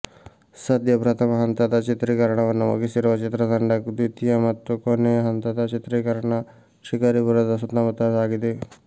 ಸದ್ಯ ಪ್ರಥಮ ಹಂತದ ಚಿತ್ರೀಕರಣವನ್ನು ಮುಗಿಸಿರುವ ಚಿತ್ರತಂಡ ದ್ವಿತಿಯ ಮತ್ತು ಕೊನೆಯ ಹಂತದ ಚಿತ್ರೀಕರಣ ಶಿಕಾರಿಪುರದ ಸುತ್ತಮುತ್ತ ಸಾಗಿದೆ